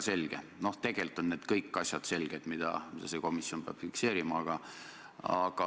Küsin, kas on lubatud, et peaminister otsesõnu valetab siin praegu, sest riigireetmisest ei ole mina rääkinud.